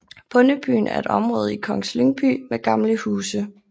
Bondebyen er et område i Kongens Lyngby med gamle huse